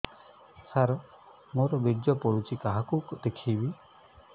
ସାର ମୋର ବୀର୍ଯ୍ୟ ପଢ଼ୁଛି କାହାକୁ ଦେଖେଇବି